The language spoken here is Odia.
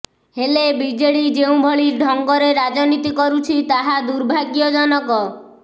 ହେଲେ ବିଜେଡି ଯେଉଁଭଳି ଢଙ୍ଗରେ ରାଜନୀତି କରୁଛି ତାହା ଦୁର୍ଭାଗ୍ୟଜନକ